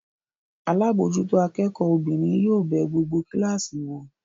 Alábòójútó akẹ́kọ̀ọ́ obìnrin yóò bẹ gbogbo kíláàsì wò.